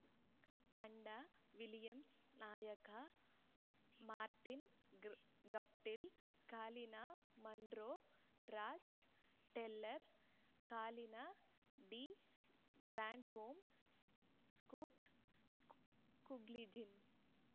ತಂಡ ವಿಲಿಯಮ್ಸನ್‌ ನಾಯಕ ಮಾರ್ಟಿನ್‌ ಗ್ರಾಫ್ Guptill Colin Munro Ross Taylor Colin de Grandhomme Scott Kuggeleijn